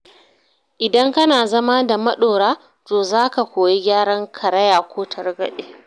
Idan kana zama da maɗora, to za ka koyi gyaran karaya ko targaɗe.